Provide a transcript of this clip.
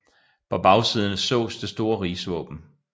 På bagsiden sås det store rigsvåben